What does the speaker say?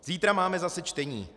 Zítra máme zase čtení.